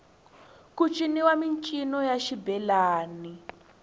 ku ciniwa mincino ya xibelani